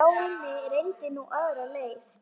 Stjáni reyndi nú aðra leið.